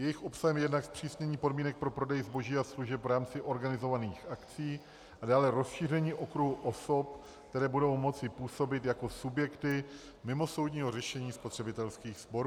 Jejich obsahem je jednak zpřísnění podmínek pro prodej zboží a služeb v rámci organizovaných akcí a dále rozšíření okruhu osob, které budou moci působit jako subjekty mimosoudního řešení spotřebitelských sporů.